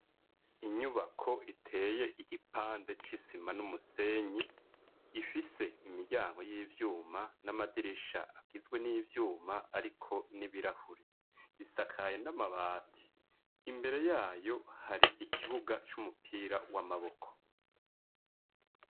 Inyubako iteye igipande c'isima n'umusenyi ifise imiryango y'ivyuma n'amadirisha agizwe n'ivyuma, ariko n'ibirahure isakaye n'amabati imbere yayo hari ikibuga c'umupira w'amaboko.